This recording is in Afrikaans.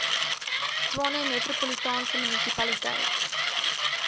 tshwane metropolitaanse munisipaliteit